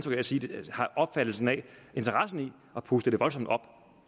interesse i at puste det voldsomt op